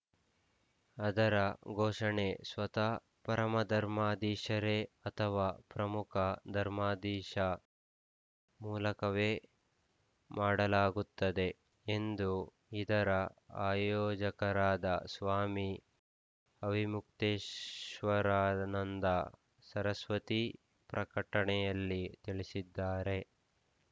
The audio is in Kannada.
ಅದರ ಘೋಷಣೆ ಸ್ವತಃ ಪರಮಧರ್ಮಾಧೀಶರೇ ಅಥವಾ ಪ್ರಮುಖ ಧರ್ಮಾಧೀಶ ಮೂಲಕವೇ ಮಾಡಲಾಗುತ್ತದೆ ಎಂದು ಇದರ ಆಯೋಜಕರಾದ ಸ್ವಾಮಿ ಅವಿಮುಕ್ತೇಶ್ವರಾನಂದ ಸರಸ್ವತಿ ಪ್ರಕಟಣೆಯಲ್ಲಿ ತಿಳಿಸಿದ್ದಾರೆ